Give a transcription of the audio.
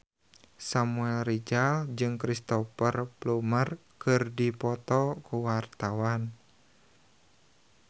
Samuel Rizal jeung Cristhoper Plumer keur dipoto ku wartawan